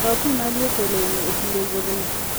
Kaw pi mar lwoko lewni e kinde wuodhno.